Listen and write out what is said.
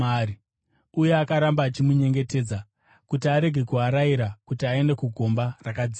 Uye akaramba achimunyengetedza kuti arege kuarayira kuti aende kugomba rakadzika.